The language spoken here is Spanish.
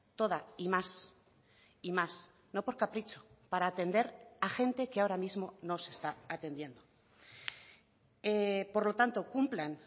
toda y más y más no por capricho para atender a gente que ahora mismo no se está atendiendo por lo tanto cumplan